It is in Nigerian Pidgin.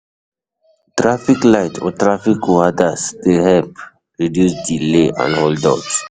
Traffic light or traffic warders de help reduce delays and hold ups